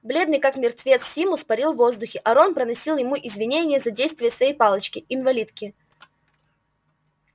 бледный как мертвец симус парил в воздухе а рон приносил ему извинения за действия своей палочки-инвалидки